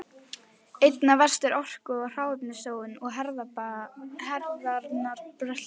Einna verst er orku- og hráefnasóun í hernaðarbrölti.